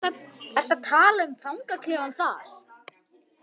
Ertu að tala um fangaklefann þar?